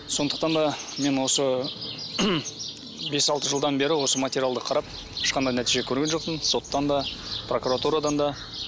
сондықтан да мен осы бес алты жылдан бері осы материалды қарап ешқандай нәтиже көрген жоқпын соттан да прокуратурадан да